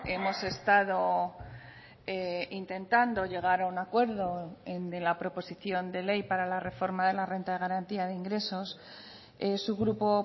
hemos estado intentando llegar a un acuerdo de la proposición de ley para la reforma de la renta de garantía de ingresos su grupo